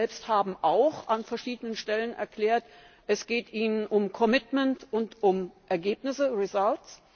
Sie selbst haben auch an verschiedenen Stellen erklärt, es geht Ihnen um commitment und um Ergebnisse results